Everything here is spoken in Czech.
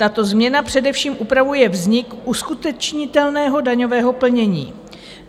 Tato změna především upravuje vznik uskutečnitelného daňového plnění.